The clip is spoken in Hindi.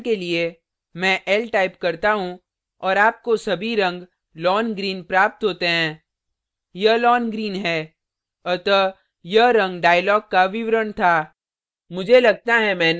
उदाहरण के लिए मैं l type करता हूँ और आपको सभी रंग lawn green lawn green प्राप्त होते हैं यह lawn green है अतः यह रंग dialog का विवरण था